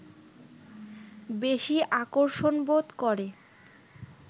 বেশি আকর্ষণবোধ করে